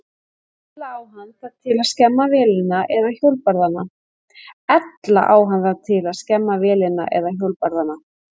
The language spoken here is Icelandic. Ella á hann það til að skemma vélina eða hjólbarðana.